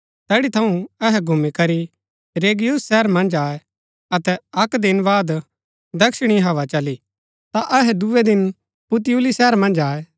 तैड़ी थऊँ अहै घूमी करी रैगियुम शहर मन्ज आये अतै अक्क दिन बाद दक्षिणी हवा चली ता अहै दूये दिन पुतियुली शहर मन्ज आये